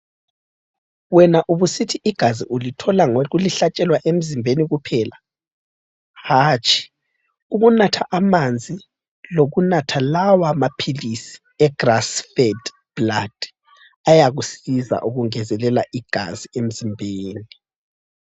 Wena ubusithi igazi ulithola ngokulihlatshelwa emzimbeni kuphela? Hatshi ,ukunatha amanzi lokunatha lawa maphilisi eGrassfed Blood ayakusiza ukungezelela igazi emzimbeni.